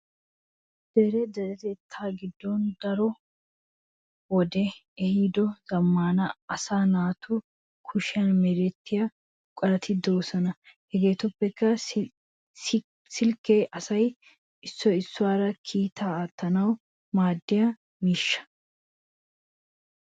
Dere deretettaa giddon daro wodee ehiido zammaana asaa naatu kushiyan merettiya buqurati de'oosona. Hegeetuppe silkke asay issoy issuwaara kiittaa aatettanawu maadiya miishsha.